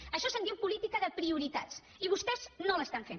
d’això se’n diu política de prioritats i vostès no l’estan fent